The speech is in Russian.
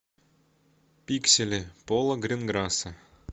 пиксели пола гринграсса